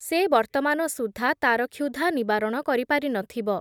ସେ ବର୍ତ୍ତମାନ ସୁଦ୍ଧା, ତା’ର କ୍ଷୁଧା ନିବାରଣ କରିପାରି ନଥିବ ।